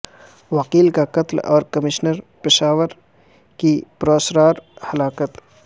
وکیل کا قتل اور کمشنر پشاور کی پراسرار ہلاکت